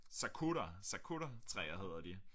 Sakura sakura træer hedder de